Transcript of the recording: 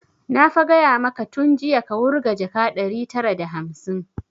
Na fa gaya maka tun jiya ka wurga jaka ɗari tara da hamsin!